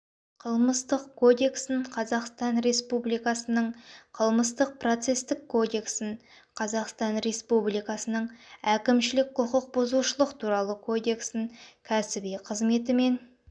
қылмыстық кодексін қазақстан республикасының қылмыстық-процестік кодексін қазақстан республикасының әкімшілік құқық бұзушылық туралы кодексін кәсіби қызметімен